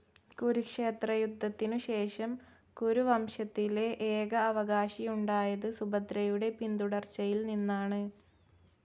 കുരുക്ഷേത്രയുദ്ധത്തിനുശേഷം കുരുവംശത്തിലെ ഏക അവകാശിയുണ്ടായത് സുഭദ്രയുടെ പിന്തുടർച്ചയിൽ നിന്നാണ്.